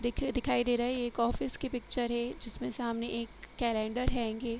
देखिये दिखाई दे रहा है एक ऑफिस की पिक्चर है जिसमें सामने एक कैलेंडर हैंगे --